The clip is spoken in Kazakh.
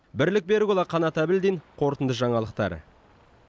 бірлік берікұлы қанат әбілдин қорытынды жаңалықтар